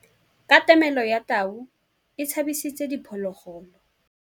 Katamêlô ya tau e tshabisitse diphôlôgôlô.